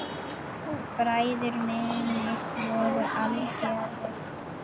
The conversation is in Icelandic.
Bræður mínir voru algerir gaurar.